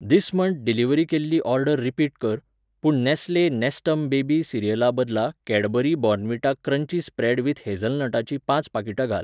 This month delivery केल्ली order repeat कर, पूण नॅस्ले नॅस्टम बेबी सिरियलाबदला Cadbury Bournvita crunchy spread with हेझलनटाचीं पांच पाकिटां घाल.